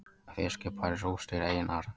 Fiskibær rústir einar